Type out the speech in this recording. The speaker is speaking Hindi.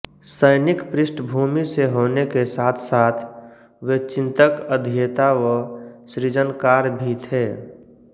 सैनिक पृष्ठभूमि से होने के साथसाथ वे चिन्तक अध्येता व सृजनकार भी थे